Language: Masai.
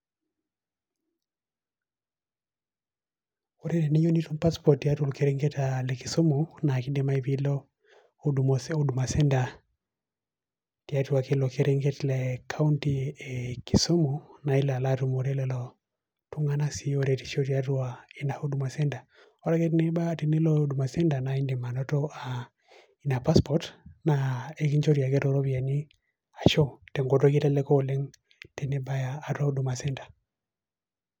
Ore teniyieu nitum pasport tiatua olkerenket eeeh le kisumu naa kidimayu piilo huduma huduma centre tiatua ilo kerenket lee kaunti eeeh kisumu nailo alaatumore lelo tung'anak sii ooretisho tiatua ina huduma centre. orake tibaa tinilo huduma centre naain'dim anoto aah ina pasport naa ekinchori ake tooropiani, arashuu tenkoitoi eleleko oleng tenibaya atua huduma centre